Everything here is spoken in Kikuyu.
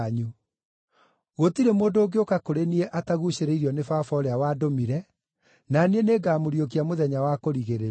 Gũtirĩ mũndũ ũngĩũka kũrĩ niĩ ataguucĩrĩirio nĩ Baba ũrĩa wandũmire, na niĩ nĩngamũriũkia mũthenya wa kũrigĩrĩria.